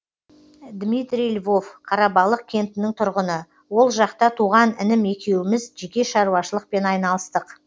дмитрий львов қарабалық кентінің тұрғыны ол жақта туған інім екеуіміз жеке шаруашылықпен айналыстық